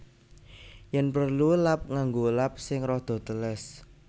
Yen prelu lap nganggo lap sing rada teles